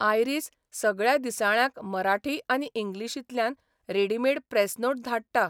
Iris सगळ्या दिसाळ्यांक मराठी आनी इंग्लीशींतल्यान रेडिमेड प्रॅस नोट धाडटा.